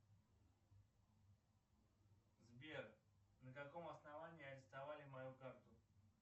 сбер на каком основании арестовали мою карту